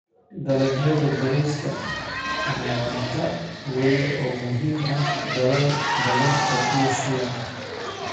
Dalagyada bariiska ni cunto weyn oo muhiim ah dalal badan oo Asia.